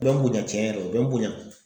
U bɛ n bonya cɛn yɛrɛ la, u bɛ n bonya.